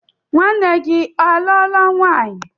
Nwanne gi aluola nwanyi?